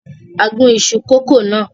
A gún iṣu kòkó náà.